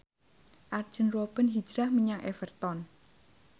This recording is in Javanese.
Arjen Robben hijrah menyang Everton